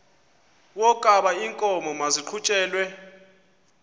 wokaba iinkomo maziqhutyelwe